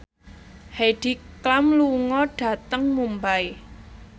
Heidi Klum lunga dhateng Mumbai